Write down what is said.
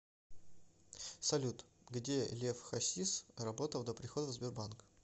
салют где лев хасис работал до прихода в сбербанк